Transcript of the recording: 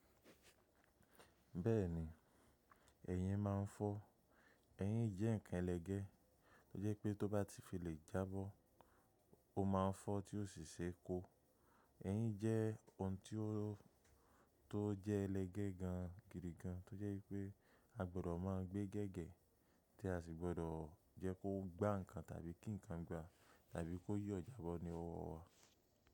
Bẹ́ẹ̀ni, ẹyin máa ń fọ́. Eyín jẹ́ ǹkan ẹlẹgẹ́ tó jẹ́ pé tó bá ti fi lè jábọ́, ó ma fọ́ tí ó sì ṣe kó. Eyín jẹ́ ohun tó jẹ́ ẹlẹgẹ́ gan gidi gan, tó jẹ́ pé a gbọdọ̀ máa gbé gẹ́gẹ́, tí a sì gbọdọ̀ jẹ́ kó gbá ǹkan tàbí kí ǹkan gbá tàbí kó yo jábọ́ ní ọwọ́ wa.